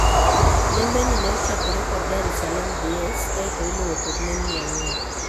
Nembeni ne ochakore kod Dar esalam DS kae to iluowo kod nembni ang'wen